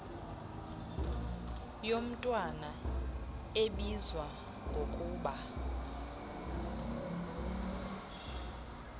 yomntwana ebizwa ngokuba